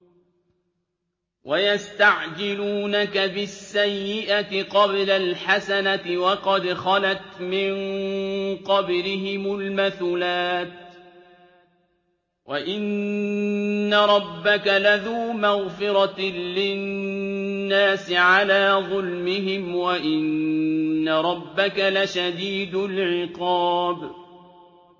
وَيَسْتَعْجِلُونَكَ بِالسَّيِّئَةِ قَبْلَ الْحَسَنَةِ وَقَدْ خَلَتْ مِن قَبْلِهِمُ الْمَثُلَاتُ ۗ وَإِنَّ رَبَّكَ لَذُو مَغْفِرَةٍ لِّلنَّاسِ عَلَىٰ ظُلْمِهِمْ ۖ وَإِنَّ رَبَّكَ لَشَدِيدُ الْعِقَابِ